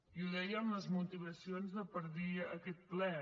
i ho deia en les motivacions per dir aquest ple